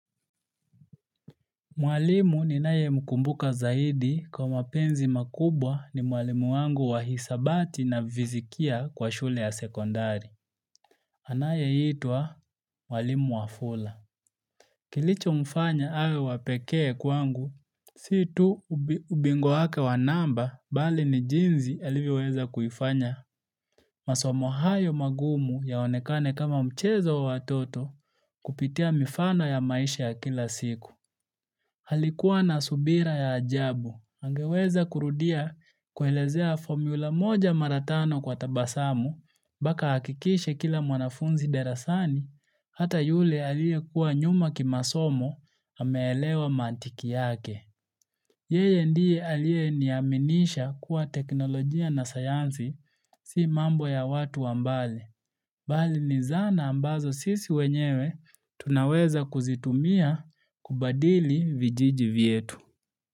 Mwalimu ninaye mkumbuka zaidi kwa mapenzi makubwa ni mwalimu wangu wa hisabati na fizikia kwa shule ya sekondari. Anayeitwa mwalimu wafula. Kilichomfanya awe wa pekee kwangu, si tu ubingwa wake wa namba bali ni jinsi alivyoweza kuifanya. Masomo hayo magumu yaonekane kama mchezo wa watoto kupitia mifano ya maisha ya kila siku. Alikuwa na subira ya ajabu, angeweza kurudia kuelezea fomyula moja mara tano kwa tabasamu, mpaka ahakikishe kila mwanafunzi darasani, hata yule aliyekuwa nyuma kimasomo ameelewa mantiki yake. Yeye ndiye aliyeniaminisha kuwa teknolojia na sayansi si mambo ya watu wa mbale. Bali ni zana ambazo sisi wenyewe tunaweza kuzitumia kubadili vijiji vyetu.